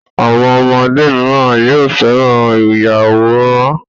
Àwọn ọmọdé míràn yóò féràn Ìyàwòrán.